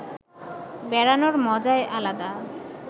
বেড়ানোর মজায় আলাদা